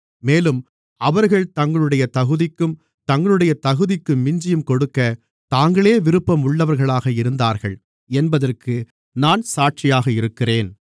மேலும் அவர்கள் தங்களுடைய தகுதிக்கும் தங்களுடைய தகுதிக்கு மிஞ்சியும் கொடுக்க தாங்களே விருப்பம் உள்ளவர்களாக இருந்தார்கள் என்பதற்கு நான் சாட்சியாக இருக்கிறேன்